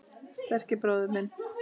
Sterki bróðir minn.